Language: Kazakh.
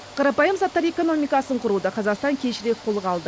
қарапайым заттар экономикасын құруды қазақстан кешірек қолға алды